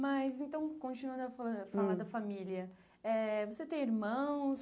Mas, então, continuando a falar a falar da família, eh você tem irmãos?